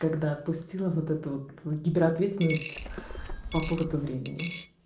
когда отпустила вот это вот гиперответственность по поводу времени